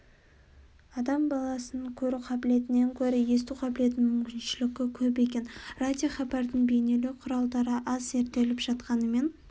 адам баласының көру қабілетінен гөрі есту қабілетінің мүмкіншілігі көп екен радиохабардың бейнелеу құралдары аз зерттеліп жатқанымен